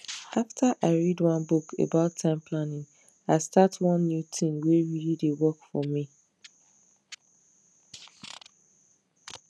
after i read one book about time planning i start one new tin wey really dey work for me